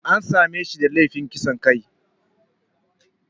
An same shi da laifin kisan kai.